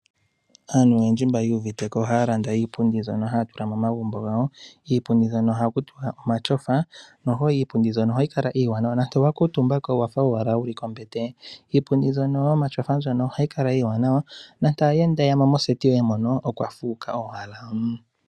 Aantu oyendji mbo yu uvite ko ohaa landa iipundi mbyono haa tula momagumbo gawo kiipundi hono ohaku tutiwa omatyofa noho iipundi mbyono ohayi kala iiwanawa nande owa kuutumba ko owafa owala wu li kombete iipundi mbyono yomatyofa ohayi kala iiwanawa nande omuyenda okweya mo moseti yoye okwa fuuka owala.